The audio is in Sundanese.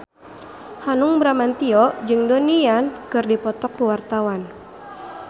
Hanung Bramantyo jeung Donnie Yan keur dipoto ku wartawan